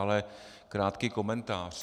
Ale krátký komentář.